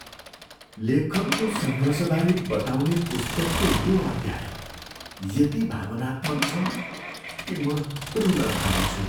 लेखकको सङ्घर्षबारे बताउने पुस्तकको यो अध्याय यति भावनात्मक छ कि म रुन थालेछु।